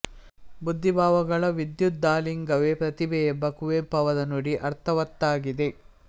ಬುದ್ಧಿಭಾವಗಳ ವಿದ್ಯುದಾಲಿಂಗವೇ ಪ್ರತಿಭೆ ಎಂಬ ಕುವೆಂಪು ಅವರ ನುಡಿ ಅರ್ಥವತ್ತಾಗಿದೆ